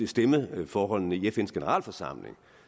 stemmeforholdene i fns generalforsamling